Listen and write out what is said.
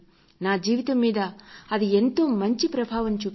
నా జీవితం మీద అది ఎంతో మంచి ప్రభావాన్ని చూపించింది